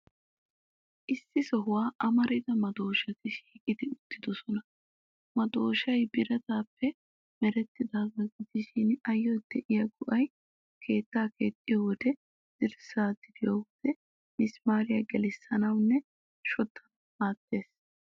Issi sohuwan amarida madooshati shiiqi uttidoosona. Madooshay biraataappe merettiyaagaa gidishin, ayyo de'iyaa go'ay keettaa keexxiyo wode, dirssaa diriyo wode misimaariyaa gelissanawunne shoddanawu maaddees.